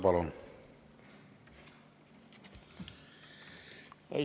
Palun!